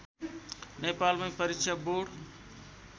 नेपालमै परीक्षा बोर्ड